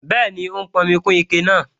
Bẹ́ẹ̀ni, ó ń pọnmi kún ike náà